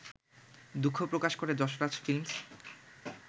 দুঃখ প্রকাশ করে যশরাজ ফিল্মস